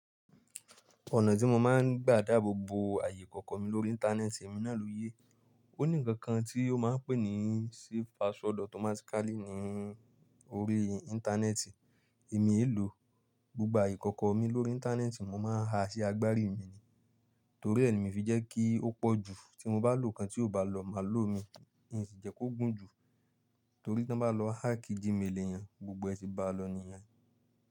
Ọ̀nà tí mo máa ń gbà dáboboo ààyè ìkọ̀kọ̀ mi lórí Íńtánẹ́ẹ̀tì, èmi náà ló yé. Ó ní nǹkankan tí ó máa ń pè ní safe password automatically ní orí Íńtánẹ́ẹ̀tì. Èmi eé lòo. Gbogbo aye ìkọ̀kọ̀ mi lórí Íńtánẹ́ẹ̀tì mo máa ń ha sí agbárí mi ni. Torí è ni mii fi jẹ́ kí ó pọ̀ jù, tí mo bá lò kan tí ò bá lọ má lò mi, ǹ sì jẹ́ kó gùn jù, torí tan bá lọ háàkì G-méèli eyan gbogbo ẹ ti ba lọ nìyẹn.